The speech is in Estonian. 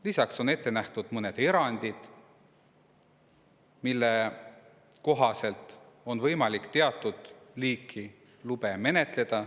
Lisaks on ette nähtud mõned erandid, mille kohaselt on võimalik teatud liiki lube menetleda.